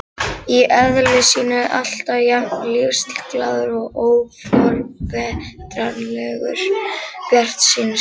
Í eðli sínu alltaf jafn lífsglaður og óforbetranlegur bjartsýnismaður.